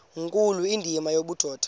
nkulu indima yobudoda